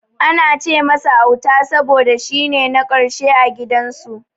Ana ce masa Auta saboda shine na karshe a gidan su.